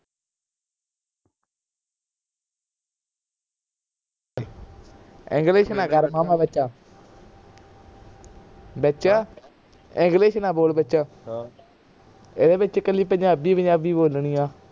english ਨਾ ਕਰ ਮਾਮਾ ਵਿਚ ਵਿਚ english ਨਾ ਬੋਲ ਵਿਚ ਇਹਦੇ ਵਿਚ ਕੱਲੀ ਪੰਜਾਬੀ ਪੰਜਾਬੀ ਬੋਲਣੀ ਆ